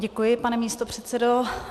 Děkuji, pane místopředsedo.